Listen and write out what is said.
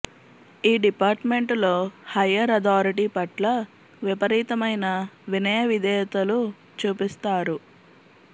ఈ డిపార్టుమెంటులో higher authority పట్ల విపరీతమైన వినయవిధేయతలు చూపిస్తారు